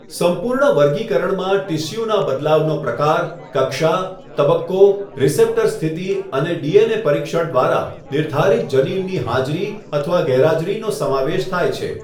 સંપૂર્ણ વર્ગીકરણમાં ટીસ્યુના બદલાવનો પ્રકાર, કક્ષા, તબક્કો, રીસેપ્ટર સ્થિતિ અને ડીએનએ પરીક્ષણ દ્વારા નિર્ધારિત જનીનની હાજરી અથવા ગેરહાજરીનો સમાવેશ થાય છે.